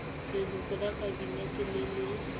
leloko la kabinete le le